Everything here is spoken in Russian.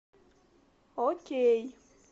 окей